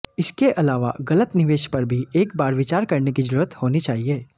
इसके अलावा गलत निवेश पर भी एक बार विचार करने की जरूरत होनी चाहिए